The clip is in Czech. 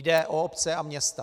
Jde o obce a města.